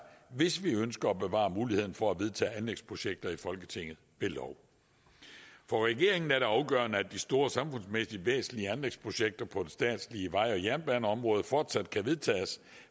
hvis vi ønsker at bevare muligheden for at vedtage anlægsprojekter i folketinget ved lov for regeringen er det afgørende at de store og samfundsmæssigt væsentlige anlægsprojekter på det statslige vej og jernbaneområde fortsat kan vedtages